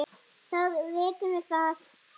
Þá vitum við það!